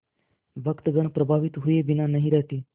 भक्तगण प्रभावित हुए बिना नहीं रहते